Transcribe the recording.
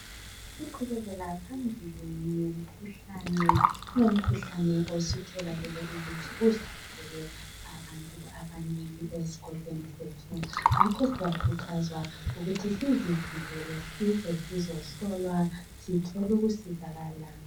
Siqhubekela phambili ngemikhuhlane. Kulomkhuhlane osutholakele, ukuthi uhlasele abantu abanengi, ezikolweni zethu. Ngakho siyakhuthazwa ukuthi sizivikele, size, sizehlolwa. Sithole ukusizakala.